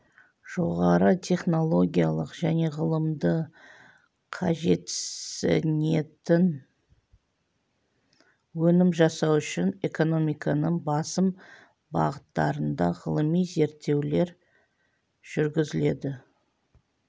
жоғары технологиялық және ғылымды қажетсінетін өнім жасау үшін экономиканың басым бағыттарында ғылыми зерттеулер жүргізіледі